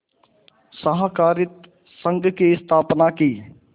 सहाकारित संघ की स्थापना की